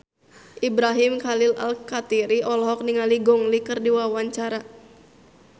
Ibrahim Khalil Alkatiri olohok ningali Gong Li keur diwawancara